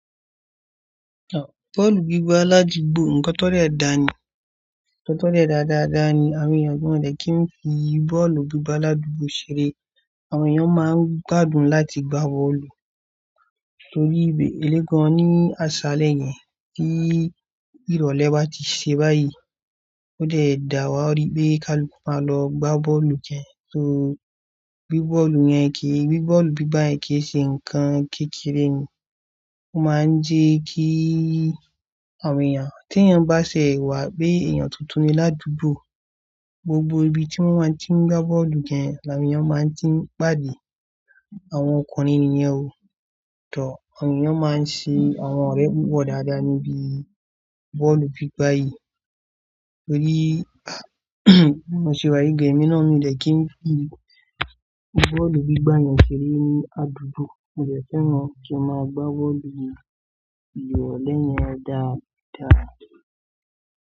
Bọ́ọ̀lù gbígbá ládugbó ńkọ́ tó rẹ̀ dá ni, tó rẹ̀ dáadáa ni àwọn èèyàn kò mọ̀ pé kí ni fi bọ́ọ̀lù gbígbá ládugbó ṣeré. Àwọn èèyàn máa ń gbádùn láti gbá bọ́ọ̀lù torí ìbè elégan ní àṣálẹ́ yẹn tí ìrọ̀lẹ́ bá ti ṣe báyìí. Ó dẹ̀ dà wá bí kí wọ́n máa lọ gbá bọ́lù jẹ. Torí bọ́ọ̀lù yẹn kìí, bọ́ọ̀lù gbígbá èyí kìí ṣe nǹkan kékeré ni. Ó máa ń jẹ́ kí àwọn èèyàn, tí èèyàn bá ṣẹ̀wá pé èèyàn tuntun ni ládùúgbò, gbogbo ibi tí wọ́n máa tí ń gbá bọ́ọ̀lù jẹ, àwọn èèyàn máa tí ń gbádùn. Àwọn ọkùnrin nìyẹn o. Tọ̀, àwọn èèyàn máa ń ṣe àwọn ọ̀rẹ́ púpọ̀ dáadáa níbí bọ́ọ̀lù gbígbá yìí. Torí mo ṣé wáyé gẹ́mínà mi lẹ́kín fi bọ́ọ̀lù gbígbá yẹn ṣeré ní àdúgbò nígbà feran kí a máa gbá bọ́ọ̀lù yìí. Ìrọ̀lẹ́ yẹn dáa dáadáa.